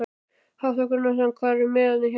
Hafþór Gunnarsson: Hvar eru miðin hjá ykkur?